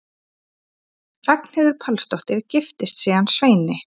Ragnheiður Pálsdóttir giftist síðan Sveini